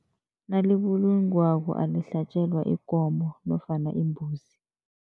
Nalibulungwako alihlatjelwa ikomo nofana imbuzi.